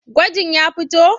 Gwajin ya fito?